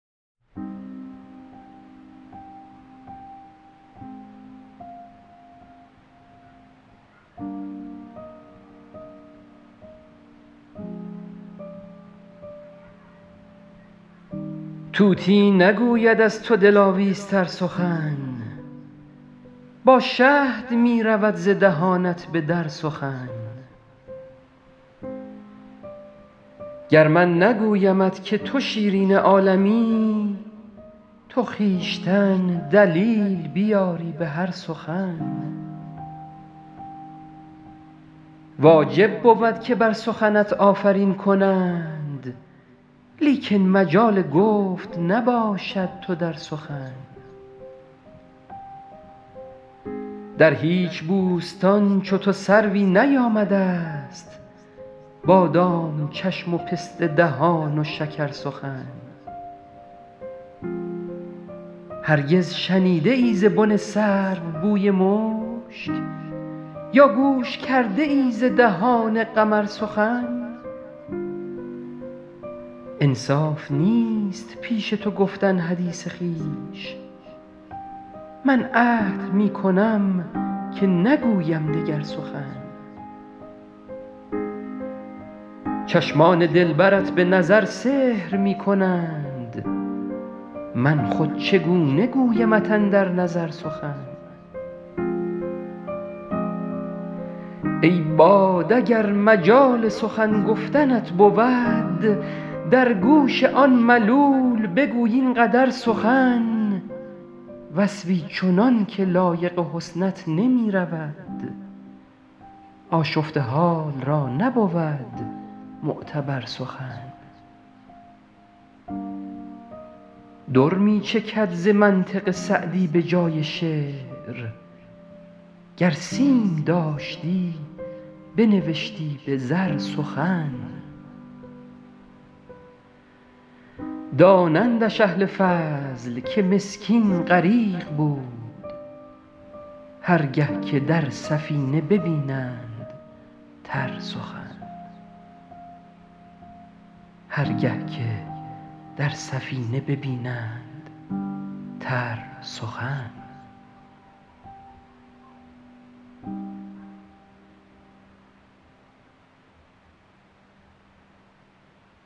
طوطی نگوید از تو دلاویزتر سخن با شهد می رود ز دهانت به در سخن گر من نگویمت که تو شیرین عالمی تو خویشتن دلیل بیاری به هر سخن واجب بود که بر سخنت آفرین کنند لیکن مجال گفت نباشد تو در سخن در هیچ بوستان چو تو سروی نیامده ست بادام چشم و پسته دهان و شکرسخن هرگز شنیده ای ز بن سرو بوی مشک یا گوش کرده ای ز دهان قمر سخن انصاف نیست پیش تو گفتن حدیث خویش من عهد می کنم که نگویم دگر سخن چشمان دلبرت به نظر سحر می کنند من خود چگونه گویمت اندر نظر سخن ای باد اگر مجال سخن گفتنت بود در گوش آن ملول بگوی این قدر سخن وصفی چنان که لایق حسنت نمی رود آشفته حال را نبود معتبر سخن در می چکد ز منطق سعدی به جای شعر گر سیم داشتی بنوشتی به زر سخن دانندش اهل فضل که مسکین غریق بود هر گه که در سفینه ببینند تر سخن